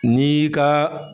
N'i ka